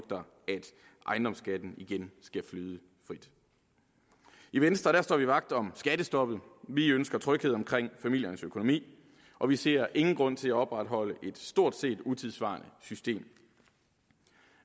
ejendomsskatten igen skal flyde frit i venstre står vi vagt om skattestoppet vi ønsker tryghed omkring familiernes økonomi og vi ser ingen grund til at opretholde et stort set utidssvarende system